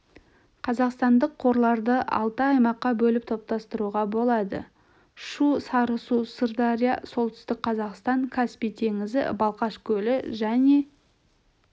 қазақстандық қорларды алты аймаққа бөліп топтастыруға болады шу-сарысу сырдария солтүстік қазақстан каспий теңізі балқаш көлі және